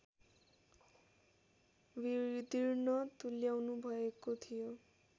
विदीर्ण तुल्याउनुभएको थियो